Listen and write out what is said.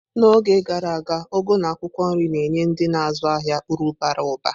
N'oge gara aga, ugu na akwukwo nri na-enye ndị na-azụ ahịa uru bara ụba.